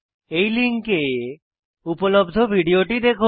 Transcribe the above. এই লিঙ্কে উপলব্ধ ভিডিওটি দেখুন